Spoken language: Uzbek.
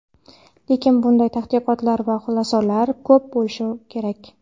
Lekin bunday tadqiqotlar va xulosalar ko‘p bo‘lishi kerak.